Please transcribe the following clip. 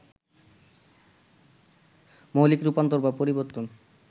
মৌলিক রূপান্তর বা পরিবর্তন